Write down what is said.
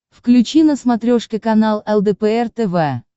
включи на смотрешке канал лдпр тв